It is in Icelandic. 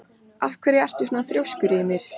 Af hverju ertu svona þrjóskur, Ymir?